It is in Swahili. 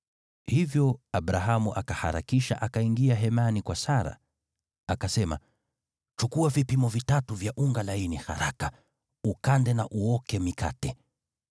Hivyo Abrahamu akaharakisha akaingia hemani kwa Sara, akamwambia, “Chukua vipimo vitatu vya unga laini haraka, ukande na uoke mikate.”